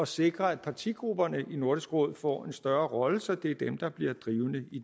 sikre at partigrupperne i nordisk råd får en større rolle så det er dem der bliver drivende i